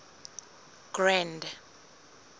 grand